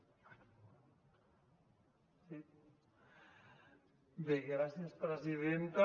bé gràcies presidenta